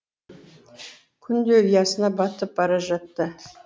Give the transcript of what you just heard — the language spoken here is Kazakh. күн де ұясына батып бара жатты